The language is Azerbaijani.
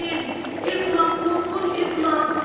Efland, qorxunc Efland!